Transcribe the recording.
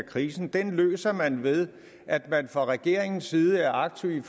krisen den løser man ved at man fra regeringens side er aktiv i